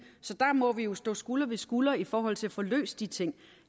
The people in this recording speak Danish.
så der må vi jo stå skulder ved skulder i forhold til at få løst de ting